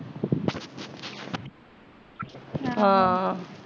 ਹਮ ਹਾਂ